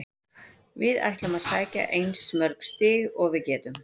Við ætlum að sækja eins mörg stig og við getum.